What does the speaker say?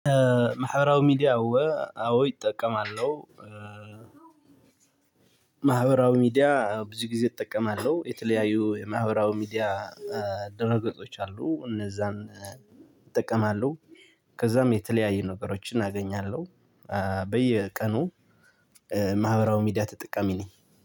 ማህበራዊ ሚዲያ አዎ አዎ እጠቀማለሁ። ማህበራዊ ሚዲያ ብዙ ጊዜ እጠቀማለሁ። የተለያዩ የማህበራዊ ሚዲያ ድር ገጾች አሉ። እነዛን እጠቀማለሁ። ከዛም የተለያየ ነገሮችን አገኛለሁ። በየቀኑ ማህበራዊ ሚዲያ ተጠቃሚ ነኝ